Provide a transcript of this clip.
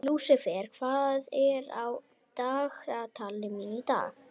Lúsifer, hvað er á dagatalinu mínu í dag?